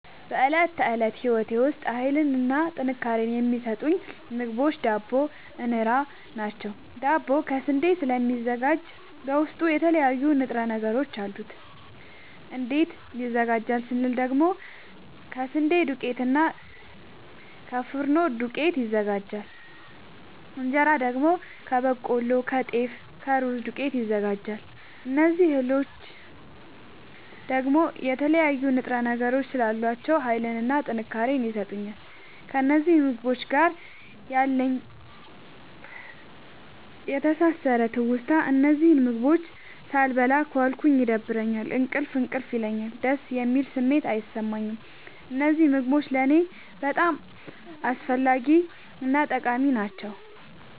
በእለት ተለት ህይወቴ ዉስጥ ሀይልንና ጥንካሬን የሚሠጡኝ ምግቦች ዳቦ እና እን ራ ናቸዉ። ዳቦ ከስንዴ ስለሚዘጋጂ በዉስጡ የተለያዩ ንጥረ ነገሮች አሉት። እንዴት ይዘጋጃል ስንል ደግሞ ከስንዴ ዱቄትና እና ከፊኖ ዱቄት ይዘጋጃል። እንጀራ ደግሞ ከበቆሎ ከጤፍ ከሩዝ ዱቄት ይዘጋጃል። እዚህ እህሎይ ደግሞ የተለያዩ ንጥረ ነገሮች ስላሏቸዉ ሀይልንና ጥንካሬን ይሠጡኛል። ከእነዚህ ምግቦች ጋር ያለኝ የተሣሠረ ትዉስታ እነዚህን ምግቦች ሣልበላ ከዋልኩ ይደብረኛል እንቅልፍ እንቅልፍ ይለኛል። ደስ የሚል ስሜት አይሠማኝም። እነዚህ ምግቦች ለኔ በጣም አስፈላጊናጠቃሚ ናቸዉ።